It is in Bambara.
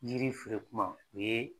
yiri feren kuma, o ye